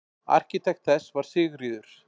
Arkitekt þess var Sigríður